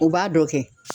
U b'a dɔ kɛ